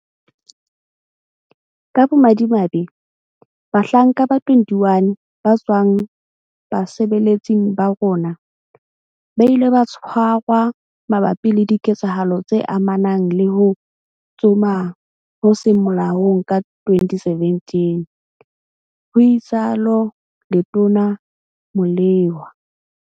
Ka bomadimabe, bahlanka ba 21 ba tswang basebeletsing ba rona, ba ile ba tshwarwa mabapi le diketsahalo tse amanang le ho tsoma ho seng molaong ka 2017, ho itsalo Letona Molewa.